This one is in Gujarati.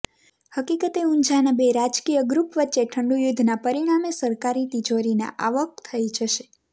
હકીકતે ઊંઝાના બે રાજકીય ગૃપ વચ્ચે ઠંડુયુધ્ધનાં પરિણામે સરકારી તિજોરીને આવક થઇ જશે